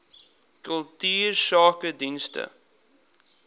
kultuursakedienste